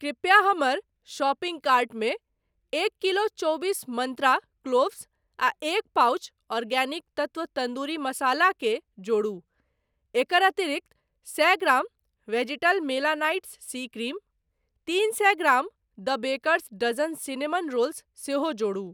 कृपया हमर शॉपिंग कार्टमे एक किलो चौबीस मंत्रा क्लोव्स आ एक पाउच आर्गेनिक तत्त्व तंदूरी मसाला के जोड़ू। एकर अतिरिक्त, सए gram vegetal melanite C cream, तीन सए gram the Baker's Dozen cinnamon rolls सेहो जोड़ू।